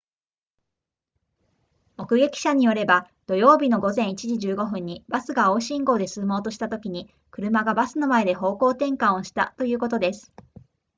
目撃者によれば土曜日の午前1時15分にバスが青信号で進もうとしたときに車がバスの前で方向転換をしたということです